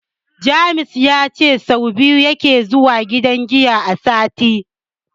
James ya ce sau biyu yake zuwa gidan giya a sati.